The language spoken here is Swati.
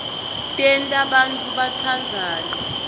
tenta bantfu batsandzane